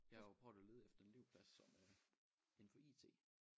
Jeg har jo prøvet at lede efter en elevplads som øh indenfor IT